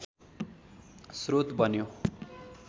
श्रोत बन्यो